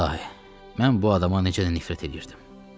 İlahi, mən bu adama necə də nifrət eləyirdim.